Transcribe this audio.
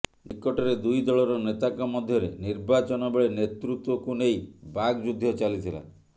ନିକଟରେ ଦୁଇ ଦଳର ନେତାଙ୍କ ମଧ୍ୟରେ ନିର୍ବାଚନ ବେଳେ ନେତୃତ୍ୱକୁ ନେଇ ବାକ୍ ଯୁଦ୍ଧ ଚାଲିଥିଲା